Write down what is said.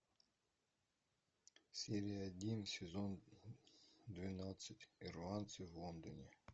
серия один сезон двенадцать ирландцы в лондоне